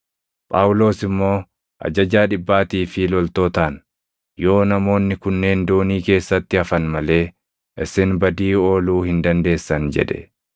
Phaawulos immoo ajajaa dhibbaatii fi loltootaan, “Yoo namoonni kunneen doonii keessatti hafan malee isin badii ooluu hin dandeessan” jedhe.